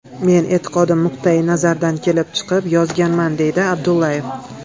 Men e’tiqodim nuqtayi nazaridan kelib chiqib yozganman”, deydi Abdullayev.